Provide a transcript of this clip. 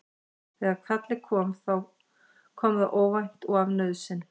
Þegar kallið kom þá kom það óvænt og af nauðsyn.